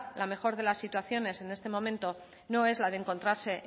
la mejor de las situaciones en este momento no es la de encontrarse